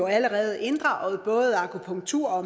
allerede inddraget både akupunktur og